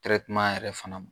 yɛrɛ fana ma